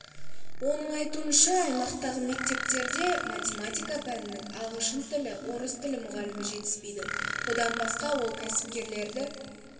оның айтуынша аймақтағы мектептерде математика пәнінің ағылшын тілі орыс тілі мұғалімі жетіспейді бұдан басқа ол кәсіпкерлерді